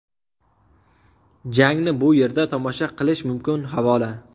Jangni bu yerda tomosha qilish mumkin havola .